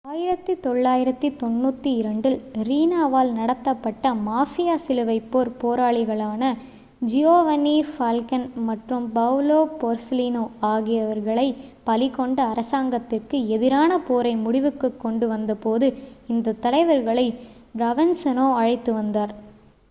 1992 ல் ரீனாவால் நடத்தப்பட்ட மாஃபியா சிலுவைப்போர் போராளிகளான ஜியோவன்னி ஃபால்கோன் மற்றும் பவுலோ போர்செலிநோ ஆகியவர்களை பலி கொண்ட அரசாங்கத்திற்கு எதிரான போரை முடிவுக்குக் கொண்டு வந்தபோது இந்தத் தலைவர்களை ப்ரோவென்சாநோ அழைத்து வந்தார்